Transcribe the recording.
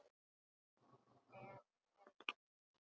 Já en, elskan mín.